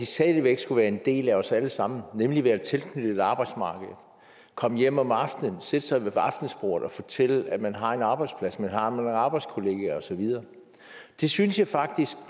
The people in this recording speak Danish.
stadig væk skulle være en del af os alle sammen nemlig være tilknyttet arbejdsmarkedet komme hjem om aftenen sætte sig ved aftensbordet og fortælle at man har en arbejdsplads at man har nogle arbejdskollegaer og så videre det synes jeg faktisk